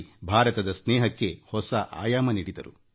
ಯೋಗ ಭಾರತದ ಗೆಳೆತನಕ್ಕೆ ಹೊಸ ಆಯಾಮ ನೀಡಿತು